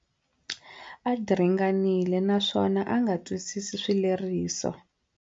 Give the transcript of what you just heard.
A diringanile naswona a nga twisisi swileriso.